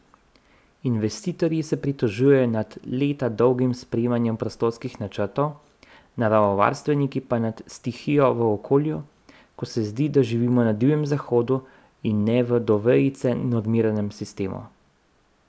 Investitorji se pritožujejo nad leta dolgim sprejemanjem prostorskih načrtov, naravovarstveniki pa nad stihijo v okolju, ko se zdi, da živimo na Divjem zahodu, in ne v do vejice normiranem sistemu.